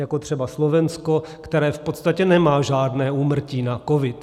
Jako třeba Slovensko, které v podstatě nemá žádné úmrtí na covid.